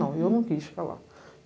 Não, eu não quis ficar lá.